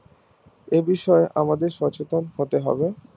এ বিষয় আমাদের সচেতন হতে হবে